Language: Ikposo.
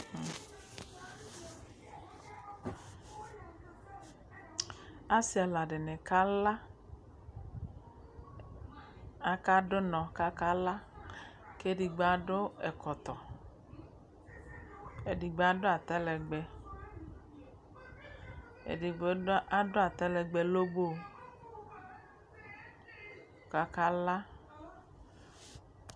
Asi ɛla di ni kala Akadʋ ʋnɔ kakala kɛ edigbo adʋ ɛkɔtɔ, edigbo adʋ atalɛgbɛ Ɛdigbo adʋ atalɛgbɛ lɔbo kʋ akala